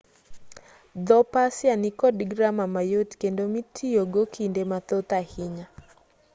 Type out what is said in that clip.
dho-persia nikod grama mayot kendo mitiyogo kinde mathoth ahinya